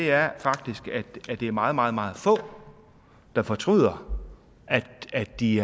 er faktisk at det er meget meget meget få der fortryder at de